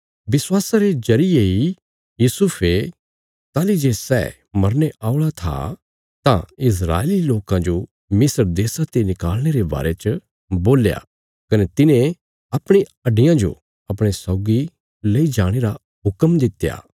विश्वासा रे जरिये इ यूसुफे ताहली जे सै मरने औल़ा था तां इस्राएली लोकां जो मिस्र देशा ते निकल़णे रे बारे च बोल्या कने तिने अपणी हड्डियां जो अपणे सौगी ले जाणे रा हुक्म दित्या